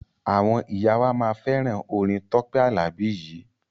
Àwọn ìyá wa máa fẹ́ràn orin Tọ́pẹ́ Àlàbí yìí.